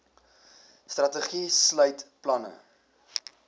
strategie sluit planne